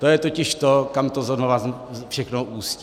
To je totiž to, kam to znova všechno ústí.